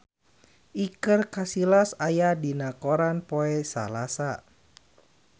Iker Casillas aya dina koran poe Salasa